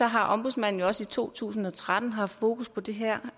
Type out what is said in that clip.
har ombudsmanden også i to tusind og tretten haft fokus på det her